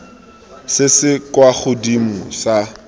se se kwa godimo sa